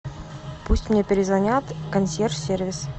пусть мне перезвонят консьерж сервис